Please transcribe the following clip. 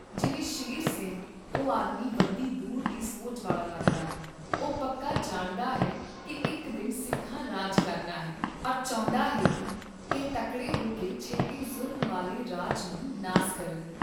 ਸ਼ੇਰ ਸਿੰਘ ਉਹ ਆਦਮੀ ਵੱਡੀ ਦੂਰ ਦੀ ਸੋਚ ਵਾਲਾ ਲੱਗਦਾ ਹੈ, ਉਹ ਪੱਕ ਜਾਣਦਾ ਹੈ ਕਿ ਇਕ ਦਿਨ ਸਿੱਖਾਂ ਰਾਜ ਕਰਨਾ ਹੈ ਅਰ ਚਾਹੁੰਦਾ ਹੈ ਕਿ ਇਹ ਤਕੜੇ ਹੋਕੇ ਛੇਤੀ ਜ਼ੁਲਮ ਵਾਲੇ ਰਾਜ ਨੂੰ ਨਾਸ ਕਰਨ